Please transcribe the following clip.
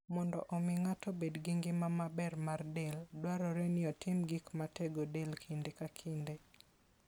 Mondo omi ng'ato obed gi ngima maber mar del, dwarore ni otim gik matego del kinde ka kinde.